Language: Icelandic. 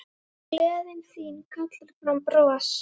Gleðin þín kallar fram bros.